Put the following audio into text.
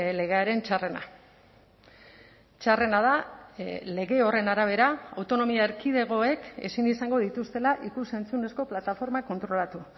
legearen txarrena txarrena da lege horren arabera autonomia erkidegoek ezin izango dituztela ikus entzunezko plataformak kontrolatu